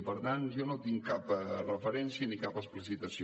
i per tant jo no en tinc cap referència ni cap explicitació